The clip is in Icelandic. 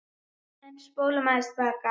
En spólum aðeins til baka.